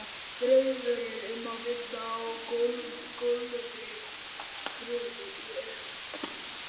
Draumurinn um að vinna á gulri gröfu er úti.